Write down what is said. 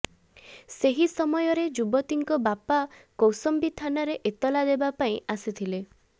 ସେହି ସମୟରେ ଯୁବତୀଙ୍କ ବାପା କୌଶମ୍ବି ଥାନାରେ ଏତଲା ଦେବାପାଇଁ ଆସିଥିଲେ